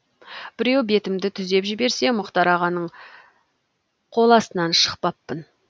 біреу бетімді түзеп жіберсе мұхтар ағаның қоластынан шықпақпын